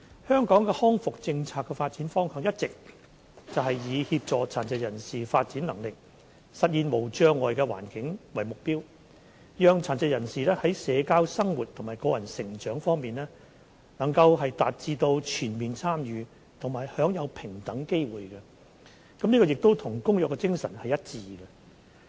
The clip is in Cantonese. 香港康復政策的發展方向，一直是以協助殘疾人士發展能力，實現無障礙環境為目標，讓殘疾人士在社交生活和個人成長方面，均能達致全面參與和享有平等機會，這與《公約》的精神是一致的。